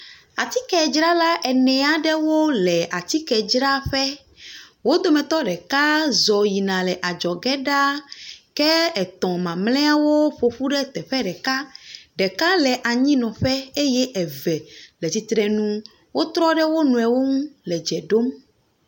Atike dzrala enea aɖewo le atike dzraƒe. Wo dometɔ ɖrka z yina le adzɔ ge ɖa. Ke etɔ mamlɛwo ƒoƒu ɖe teƒe ɖeka. Ɖeka le anyi nɔ ƒe eye eve le tsitre ŋu. Wotrɔ ɖe wo nɔe ŋu le dze ɖom.